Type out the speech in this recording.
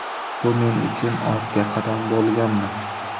Bu men uchun ortga qadam bo‘lganmi?